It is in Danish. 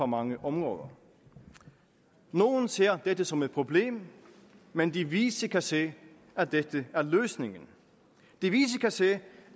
mange områder nogle ser dette som et problem men de vise kan se at dette er løsningen de vise kan se